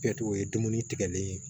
Kɛtogo o ye dumuni tigɛli ye